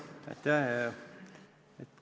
Aitäh!